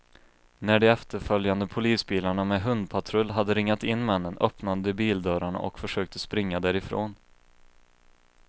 När de efterföljande polisbilarna med hundpatrull hade ringat in männen, öppnade de bildörrarna och försökte springa därifrån.